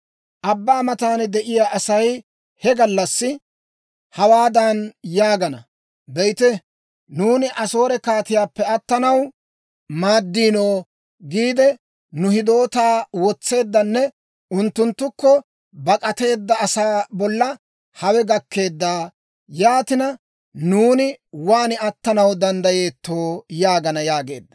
Abbaa matan de'iyaa Asay he gallassi hawaadan yaagana; ‹Be'ite, nuuni Asoore kaatiyaappe attanaw maaddiino giide nu hidootaa wotseeddanne unttunttukko bak'ateedda asaa bolla hawe gakkeedda; yaatina, nuuni waan attanaw danddayeettoo?› yaagana» yaageedda.